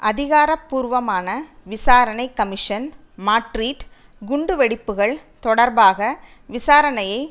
அதிகாரபூர்வமான விசாரணை commission Madrid குண்டு வெடிப்புகள் தொடர்பாக விசாரணையை